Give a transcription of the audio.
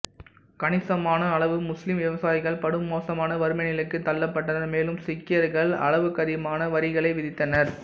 கணிசமான அளவு முஸ்லீம் விவசாயிகள் படுமோசமான வறுமை நிலைக்குத் தள்ளப்பட்டனர் மேலும் சீக்கியர்கள் அளவுக்கதிகமான வரிகளை விதித்தனர்